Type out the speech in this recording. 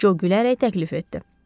Co gülərək təklif etdi.